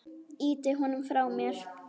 Ýti honum frá mér.